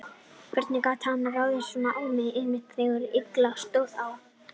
Hvernig gat hann ráðist svona á mig, einmitt þegar illa stóð á?